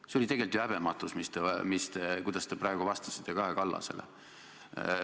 See oli tegelikult ju häbematus, kuidas te praegu vastasite Kaja Kallasele.